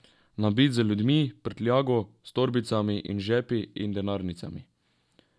Nabit z ljudmi, prtljago, s torbicami in žepi in denarnicami.